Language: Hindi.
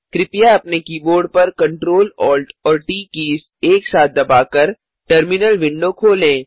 कृपया अपने कीबोर्ड पर Ctrl Alt और ट कीज़ एक साथ दबाकर टर्मिनल विंडो खोलें